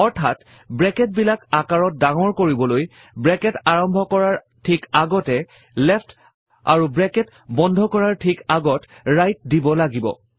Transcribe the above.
অৰ্থাত ব্ৰেকেট বিলাক আকাৰত ডাঙৰ কৰিবলৈ ব্ৰেকেট আৰম্ভ কৰাৰ ঠিক আগতে লেফ্ট আৰু ব্ৰেকেট বন্ধ কৰাৰ ঠিক আগত ৰাইট দিব লাগিব